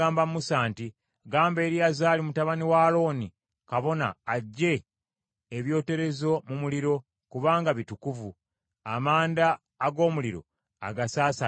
“Gamba Eriyazaali mutabani wa Alooni kabona aggye ebyoterezo mu muliro, kubanga bitukuvu, amanda ag’omuliro agasaasaanyize wala.